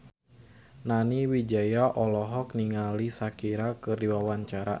Nani Wijaya olohok ningali Shakira keur diwawancara